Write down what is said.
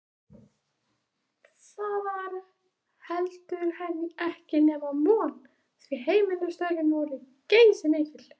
Það var heldur ekki nema von, því heimilisstörfin voru geysimikil.